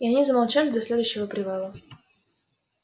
и они замолчали до следующего привала